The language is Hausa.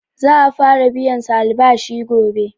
Za'a fara biyan su albashi gobe.